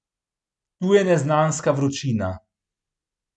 Tu je neznanska vročina.